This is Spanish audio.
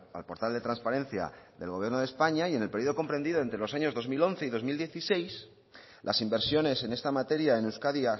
al portal de transparencia del gobierno de españa y en el periodo comprendido entre los años dos mil once y dos mil dieciséis las inversiones en esta materia en euskadi